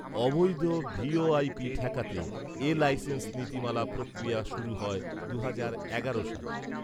অবৈধ ভিওআইপি ঠেকাতে এ লাইসেন্স নীতিমালা প্রক্রিয়া শুরু হয় দুহাজার এগারো সালে